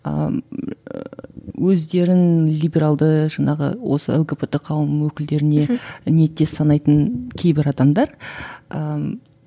өздерін либералды жаңағы осы лгбт қауым өкілдеріне мхм ниеттес санайтын кейбір адамдар ыыы